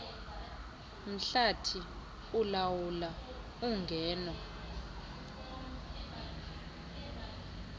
mhlathi ulawula ungeno